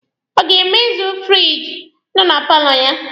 Ọ ga-emezi firiji nọ na paalọ ya?